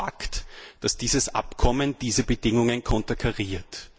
Es ist Fakt, dass dieses Abkommen diese Bedingungen konterkariert.